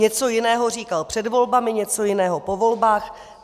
Něco jiného říkal před volbami, něco jiného po volbách.